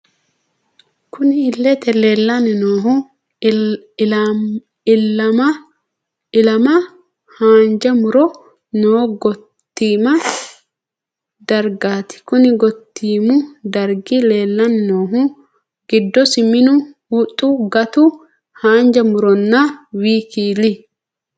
Kunni illete leelani noohu ilaalame haanja murro noo gotiima drigati konni gotiimu dariga leelani noohu giddosi minu, huxu, gatu, haanjja murronna wkl.